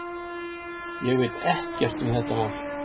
Ég veit ekkert um þetta mál.